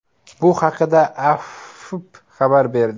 Bu haqda AFP xabar berdi .